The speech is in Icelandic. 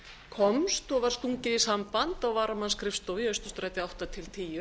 komst og var stungið í samband á varamannsskrifstofu í austurstræti átta til tíu